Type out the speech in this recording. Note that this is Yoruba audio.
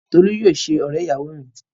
Tolú yóò ṣe ọ̀rẹ́-ìyàwọ mi.